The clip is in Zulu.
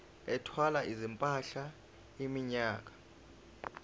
ethwala izimpahla iminyaka